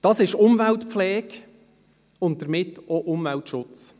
Das ist Umweltpflege und damit auch Umweltschutz.